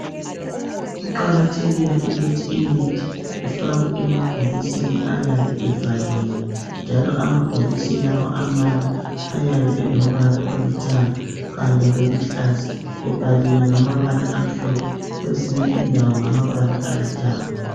Kuqakathekile ukuthi imithi ifakwe emabhokisini ayabe evaliwe njalo amabhokisi lawa amanye ayabe elombala olithanga kanye loluhlaza ebhaliwe ngamabala amhlophe kwezinye indawo ngamabala alithanga.